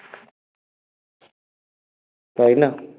তাই না?